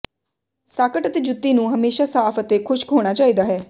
socket ਅਤੇ ਜੁੱਤੀ ਨੂੰ ਹਮੇਸ਼ਾ ਸਾਫ਼ ਅਤੇ ਖ਼ੁਸ਼ਕ ਹੋਣਾ ਚਾਹੀਦਾ ਹੈ